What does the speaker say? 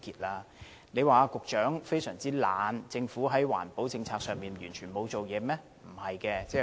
我們不能說環境局局長非常懶惰，或政府在環保政策上完全沒有下工夫。